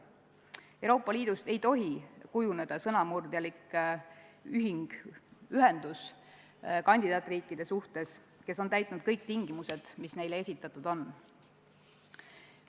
Euroopa Liidust ei tohi kujuneda kandidaatriikide suhtes sõnamurdjalikku ühendust, kui need riigid on täitnud kõik tingimused, mis neile esitatud on.